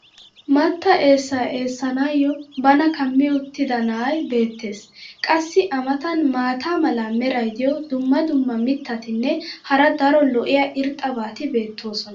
mattaa eessaa eessanaayo bana kammi uttida na"ay beetees. qassi a matan maata mala meray diyo dumma dumma mitatinne hara daro lo'iya irxxabati beetoosona.